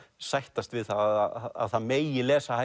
sættast við það að það megi lesa